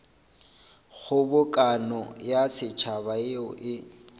kgobokano ya setšhaba yeo e